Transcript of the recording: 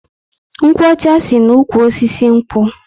Nkwo ọcha si na ụkwụ osisi nkwu